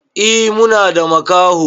E Muna da makaho.